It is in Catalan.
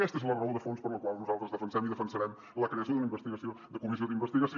aquesta és la raó de fons per la qual nosaltres defensem i defensarem la creació d’una comissió d’investigació